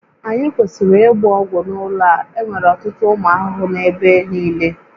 Anyị kwesịrị ịgba ọgwụ n'ụlọ a, enwere ọtụtụ ụmụ ahụhụ n'ebe niile